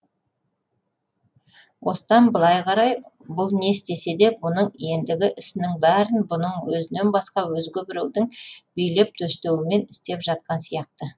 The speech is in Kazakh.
осыдан былай қарай бұл не істесе де бұның ендігі ісінің бәрін бұның өзінен басқа өзге біреудің билеп төстеуімен істеп жатқан сияқты